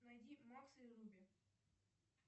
найди макса и руби